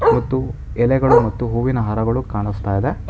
ಮತ್ತು ಎಲೆಗಳು ಮತ್ತು ಹೂವಿನ ಹಾರಗಳು ಕಾಣಿಸ್ತಾ ಇದೆ.